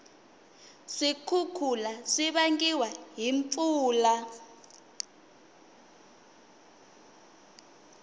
swikhukhula swivangiwa hhi mpfula